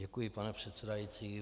Děkuji, pane předsedající.